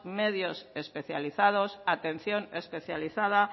medios especializados atención especializada